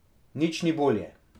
Nič ni bolje.